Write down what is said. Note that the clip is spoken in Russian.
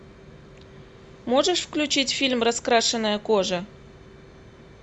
можешь включить фильм раскрашенная кожа